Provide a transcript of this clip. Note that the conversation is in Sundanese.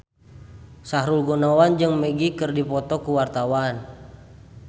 Sahrul Gunawan jeung Magic keur dipoto ku wartawan